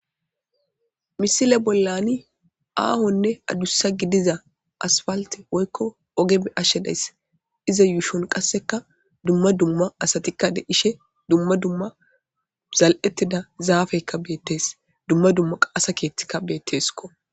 misile bollani aahonne adussa gidiza asfalte woykko ogeme ashshedayss iza yuushon qasseka dumma dumma asatikka de ishe dumma dumma zal7ettida zaafeykka beettees dumma dumma qaasa keettikka beetteesko